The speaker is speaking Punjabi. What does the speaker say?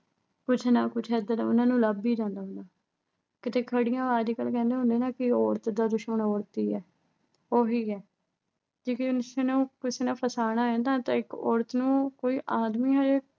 ਕੁਛ ਨਾ ਕੁਛ ਐਦਾਂ ਦਾ ਉਨ੍ਹਾਂ ਨੂੰ ਲੱਭ ਹੀ ਜਾਂਦਾ ਹੁੰਦਾ। ਕਿਤੇ ਖੜੀਆਂ। ਅੱਜਕੱਲ੍ਹ ਕਹਿੰਦੇ ਹੁੰਦੇ ਆ ਨਾ ਅਹ ਵੀ ਔਰਤ ਦਾ ਦੁਸ਼ਮਣ ਔਰਤ ਹੀ ਐ। ਉਹੀ ਐ। ਕਿਉਂ ਕਿ ਉਸਨੂੰ ਕਿਸੇ ਨੇ ਫਸਾਉਣਾ ਨਾ ਅਹ ਤਾਂ ਇੱਕ ਔਰਤ ਨੂੰ ਕੋਈ ਆਦਮੀ ਤਾਂ